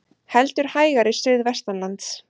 Heldur hægari suðvestanlands